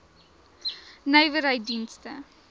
nywerheiddienste